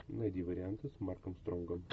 найди варианты с марком стронгом